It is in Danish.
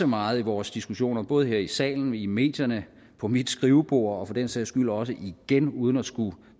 meget i vores diskussioner både her i salen i medierne på mit skrivebord og for den sags skyld også igen uden at skulle